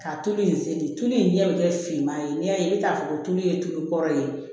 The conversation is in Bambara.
Ka tulu in se de tulu in ɲɛ bɛɛ finman ye n'i y'a ye i bɛ taa fɔ ko tulu ye tulu kɔrɔlen